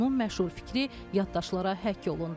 Onun məşhur fikri yaddaşlara həkk olundu.